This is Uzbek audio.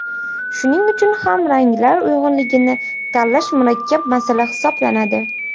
Shuning uchun ham ranglar uyg‘unligini tanlash murakkab masala hisoblanadi.